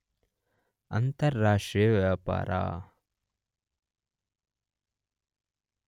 ಅಂತಾರಾಷ್ಟ್ರೀಯ ವ್ಯಾಪಾರ